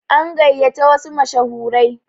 An gayata wasu mashahurai.